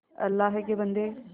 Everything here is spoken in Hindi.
अल्लाह के बन्दे